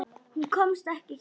Hún komst ekki hjá því.